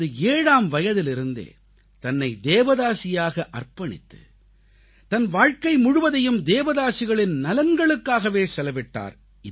தனது 7ஆம் வயதிலிருந்தே தன்னை தேவதாசியாக அர்ப்பணித்து தன் வாழ்க்கை முழுவதையும் தேவதாசிகளின் நலன்களுக்காகவே செலவிட்டார்